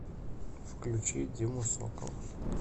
включи диму сокола